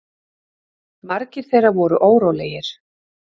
Margir þeirra voru órólegir.